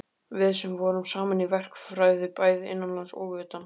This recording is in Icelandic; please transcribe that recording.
Við sem vorum saman í verkfræði bæði innanlands og utan.